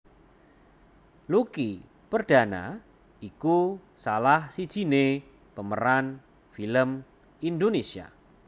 Lucky Perdana iku salah sijiné pemeran film Indonesia